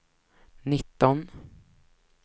nitton